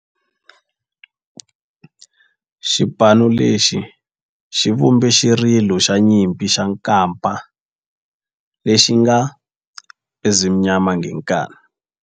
Xipano lexi xi vumbe xirilo xa nyimpi xa kampa lexi nge 'Ezimnyama Ngenkani'.